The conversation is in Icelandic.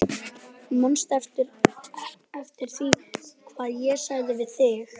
Manstu ekki eftir því hvað ég sagði við þig?